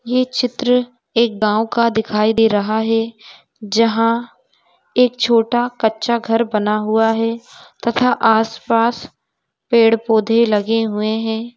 ये चित्र एक गांव का दिखाई दे रहा है जहां एक छोटा कच्चा घर बना हुआ है तथा आस पास पेड़ पौधे लगे हुए हैं।